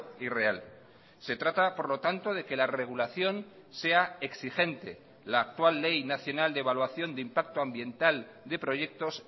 y real se trata por lo tanto de que la regulación sea exigente la actual ley nacional de evaluación de impacto ambiental de proyectos